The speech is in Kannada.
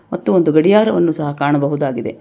ಮತ್ತು ಒಂದು ಗಡಿಯಾರವನ್ನು ಸಹ ಕಾಣಬಹುದಾಗಿದೆ.